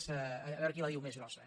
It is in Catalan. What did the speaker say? a veure qui la diu més grossa